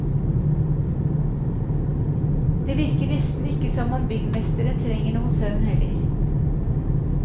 Det virker nesten ikke som om byggmesteren trenger noe søvn heller.